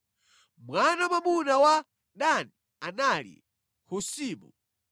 Mwana wa mwamuna wa Dani anali: Husimu.